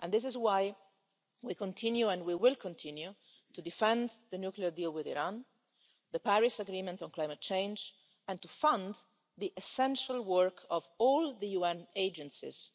That is why we continue and we will continue to defend the nuclear deal with Iran and the Paris Agreement on climate change, and to fund the essential work of all the UN agencies,